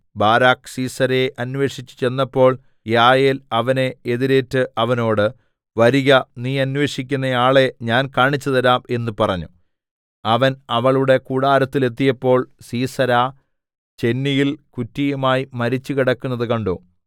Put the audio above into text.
Barak സീസെരയെ അന്വേഷിച്ച് ചെന്നപ്പോൾ യായേൽ അവനെ എതിരേറ്റ് അവനോട് വരിക നീ അന്വേഷിക്കുന്ന ആളെ ഞാൻ കാണിച്ചുതരാം എന്ന് പറഞ്ഞു അവൻ അവളുടെ കൂടാരത്തിലെത്തിയപ്പോൾ സീസെരാ ചെന്നിയിൽ കുറ്റിയുമായി മരിച്ചു കിടക്കുന്നത് കണ്ടു